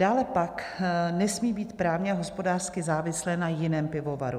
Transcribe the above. Dále pak nesmí být právně a hospodářsky závislé na jiném pivovaru.